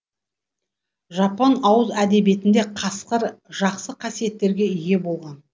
жапон ауыз әдебиетінде қасқыр жақсы қасиеттерге ие болған